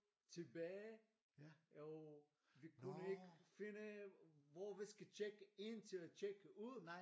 Tilbage og vi kunne ikke finde hvor vi skal tjekke ind til at tjekke ud